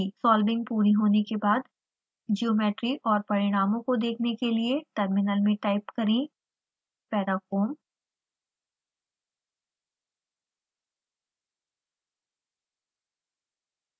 solving पूरी होने के बाद ज्योमेट्री और परिणामों को देखने के लिए टर्मिनल में टाइप करें parafoam